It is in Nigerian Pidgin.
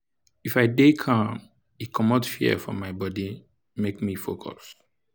if i dey calm e commot fear for my bode make me focus.